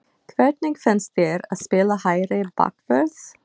Hvernig finnst þér að spila hægri bakvörð?